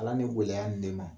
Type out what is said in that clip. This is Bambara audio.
Ala ni gɛlɛya in de ma